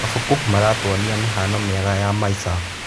Mabuku maratuonia mĩhano mĩega ya maica.